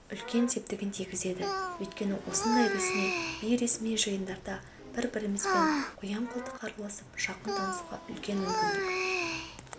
үлкен септігін тигізеді өйткені осындай ресми бейресми жиындарда бір-бірімізбен қоян-қолтық араласып жақын танысуға үлкен мүмкіндік